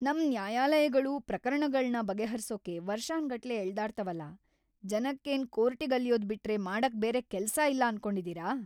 ನಮ್ ನ್ಯಾಯಾಲಯಗಳು ಪ್ರಕರಣಗಳ್ನ ಬಗೆಹರ್ಸೋಕೆ ವರ್ಷಾನ್‌ಗಟ್ಲೆ ಎಳ್ದಾಡ್ತವಲ, ಜನಕ್ಕೇನ್‌ ಕೋರ್ಟಿಗಲ್ಯೋದ್‌ ಬಿಟ್ರೆ ಮಾಡಕ್‌ ಬೇರೆ ಕೆಲ್ಸ ಇಲ್ಲ ಅನ್ಕೊಂಡಿದೀರ?!